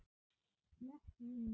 Slepp ég?